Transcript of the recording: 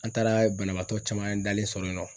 An taara banabaatɔ caman dalen sɔrɔ yen nɔ.